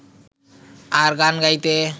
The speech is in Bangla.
আর গান গাইতে